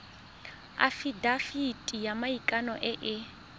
afitafiti ya maikano e e